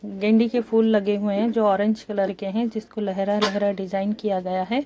डंडी के फूल लगे हुए हैं जो ऑरेंज कलर के हैं जिस को लहरा लहरा डिजाईन किया गया है।